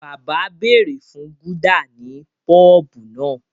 Bàbá béèrè fún Gúdà ní pọ́bù náà